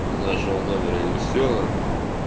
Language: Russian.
из нашего номера и все